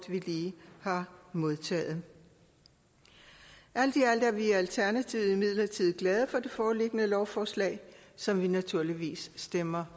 vi lige har modtaget alt i alt er vi i alternativet imidlertid glade for det foreliggende lovforslag som vi naturligvis stemmer